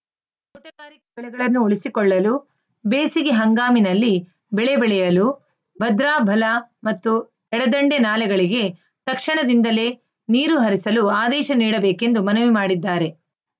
ತೋಟಗಾರಿಕೆ ಬೆಳೆಗಳನ್ನು ಉಳಿಸಿಕೊಳ್ಳಲು ಬೇಸಿಗೆ ಹಂಗಾಮಿನಲ್ಲಿ ಬೆಳೆ ಬೆಳೆಯಲು ಭದ್ರಾ ಬಲ ಮತ್ತು ಎಡದಂಡೆ ನಾಲೆಗಳಿಗೆ ತಕ್ಷಣದಿಂದಲೇ ನೀರು ಹರಿಸಲು ಆದೇಶ ನೀಡಬೇಕೆಂದು ಮನವಿ ಮಾಡಿದ್ದಾರೆ